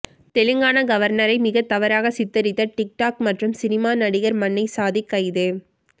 தெலுங்கானா கவர்னரை மிக தவறாக சித்தரித்த டிக் டாக் மற்றும் சினிமா நடிகர் மன்னை சாதிக் கைது